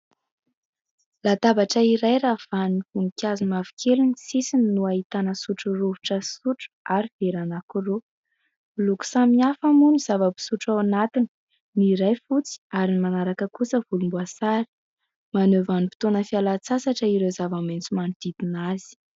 Latabatra iray ravahan'ny voninkazo mavokely ny sisiny no ahitana sotro rovitra, sotro ary vera anankiroa. Miloko samihafa moa ny zava-pisotro ao anatiny, ny iray fotsy ary ny manaraka kosa volomboasary. Maneho vanim-potoana fialan-tsasatra ireo zavamaitso manodidina azy.